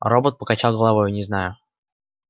робот покачал головой не знаю